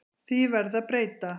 Því verði að breyta.